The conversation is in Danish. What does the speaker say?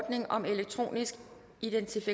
halvtreds af jens